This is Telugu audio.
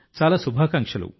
చాలా శుభాకాంక్షలు